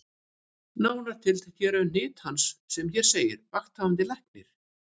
Nánar tiltekið eru hnit hans sem hér segir: Vakthafandi Læknir